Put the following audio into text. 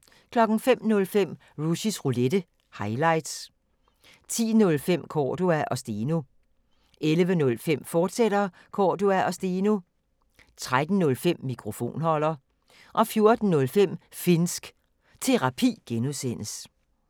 05:05: Rushys Roulette – highlights 10:05: Cordua & Steno 11:05: Cordua & Steno, fortsat 13:05: Mikrofonholder 14:05: Finnsk Terapi (G)